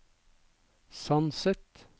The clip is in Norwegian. Sandset